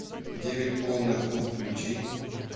девять полных лун включи